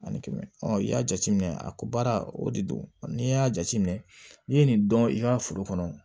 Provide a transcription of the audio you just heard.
Ani kɛmɛ i y'a jateminɛ a ko baara o de don n'i y'a jateminɛ n'i ye nin dɔn i ka foro kɔnɔ